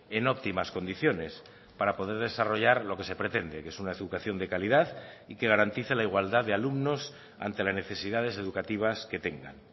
en óptimas condiciones para poder desarrollar lo que se pretende que es una educación de calidad y que garantice la igualdad de alumnos ante las necesidades educativas que tengan